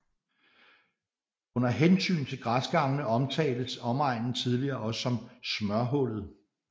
Under hensyn til græsgangene omtaltes omegnen tidligere også som smørhullet